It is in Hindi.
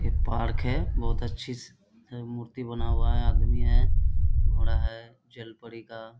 यह पार्क है बहुत अच्छे से मूर्ति बना हुआ है आदमी है घोड़ा है जलपरी का।